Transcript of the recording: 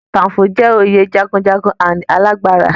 Kakaǹfò jẹ́ oyè jagunjagun and alágbára.